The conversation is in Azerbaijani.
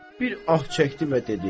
Bir ah çəkdi və dedi: